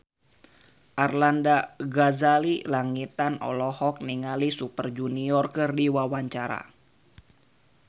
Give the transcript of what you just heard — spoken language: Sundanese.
Arlanda Ghazali Langitan olohok ningali Super Junior keur diwawancara